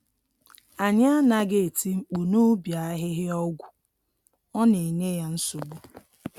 Anyị anaghị eti mkpu n’ubi ahịhịa ọgwụ, ọ na enye ya nsogbu.